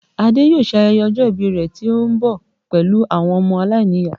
Ade yóò ṣe ayẹyẹ ọjọ́ ìbí rẹ tó ń bọ̀ pẹ̀lú àwọn ọmọ aláìníyàá